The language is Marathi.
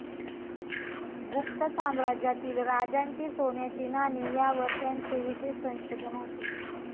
गुप्त साम्राज्यातील राजांची सोन्याची नाणी यावर त्यांचे विशेष संशोधन होते.